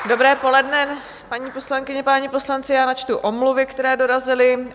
Dobré poledne, paní poslankyně, páni poslanci, já načtu omluvy, které dorazily.